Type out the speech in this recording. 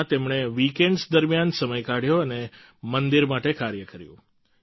તેવામાં તેમણે વીકેન્ડ્સ દરમિયાન સમય કાઢ્યો અને મંદિર માટે કાર્ય કર્યું